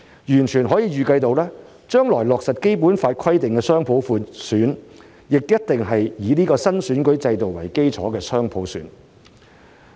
完全可以預計，將來落實《基本法》規定的雙普選，也一定是以這個新選舉制度為基礎的雙普選。